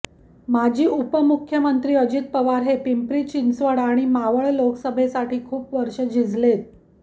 माजी उपमुख्यमंत्री अजित पवार हे पिंपरी चिंचवड आणि मावळ लोकसभेसाठी खूप वर्ष झिजलेत